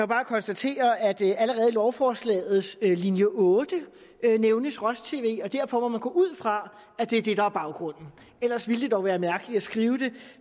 bare konstatere at allerede i lovforslagets linje otte nævnes roj tv og derfor må man gå ud fra at det er det der er baggrunden ellers ville det dog være mærkeligt at skrive det